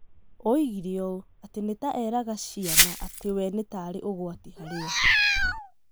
Oigire ũũ atĩ ni ta eraga ciana ati wee nĩ tarĩ ũgwati harĩ o.